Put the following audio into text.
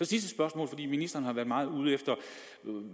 sidste spørgsmål ministeren har været meget ude efter